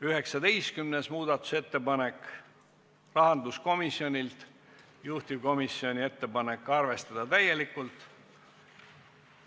19. muudatusettepanek, rahanduskomisjonilt, juhtivkomisjoni ettepanek: arvestada täielikult.